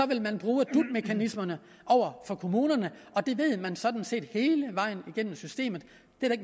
vil man bruge dut mekanismerne over for kommunerne og det ved man sådan set hele vejen gennem systemet